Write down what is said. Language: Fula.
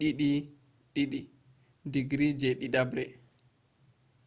2:2 digri je ɗiɗabre